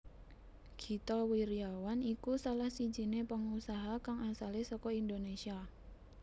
Gita Wirjawan iku salah sijiné pengusaha kang asalé saka Indonésia